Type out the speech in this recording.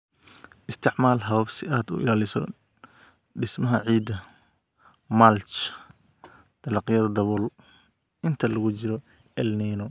Isticmaal habab si aad u ilaaliso dhismaha ciidda (mulch, dalagyada dabool) inta lagu jiro El Niño"